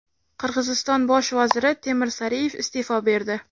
Qirg‘iziston bosh vaziri Temir Sariyev iste’fo berdi.